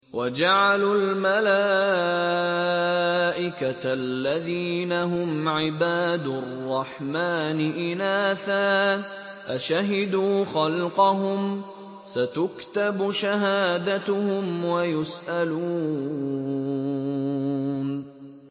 وَجَعَلُوا الْمَلَائِكَةَ الَّذِينَ هُمْ عِبَادُ الرَّحْمَٰنِ إِنَاثًا ۚ أَشَهِدُوا خَلْقَهُمْ ۚ سَتُكْتَبُ شَهَادَتُهُمْ وَيُسْأَلُونَ